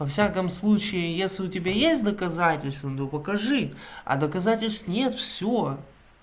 во всяком случае если у тебя есть доказательства ну покажи а доказательств нет всё